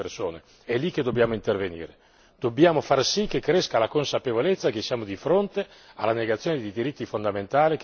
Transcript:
Dobbiamo far sì che cresca la consapevolezza che siamo di fronte alla negazione di diritti fondamentali che riguardano i minori e riguardano le donne.